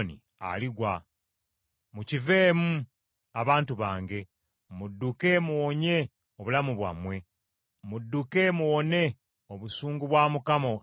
“Mukiveemu, abantu bange! Mudduke muwonye obulamu bwammwe! Mudduke muwone obusungu bwa Mukama obubuubuuka.